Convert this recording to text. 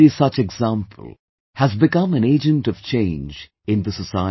Every such example has become an agent of change in the society